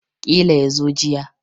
Ƙila yazo jiya